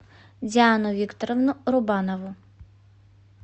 диану викторовну рубанову